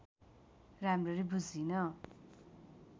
राम्ररी बुझिन